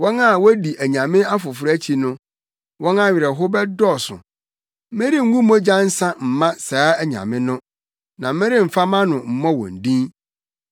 Wɔn a wodi anyame afoforo akyi no, wɔn awerɛhow bɛdɔɔso. Merengu mogya nsa mma saa anyame no na meremfa mʼano mmɔ wɔn din.